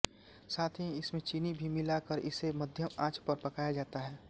साथ ही इसमें चीनी भी मिला कर इसे मध्यम आंच पर पकाया जाता है